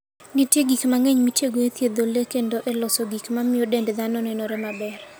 Nitie gik mang'eny mitiyogo e thiedho le kendo e loso gik ma miyo dend dhano nenore maber.